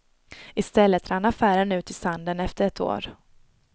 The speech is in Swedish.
I stället rann affären ut i sanden efter ett år.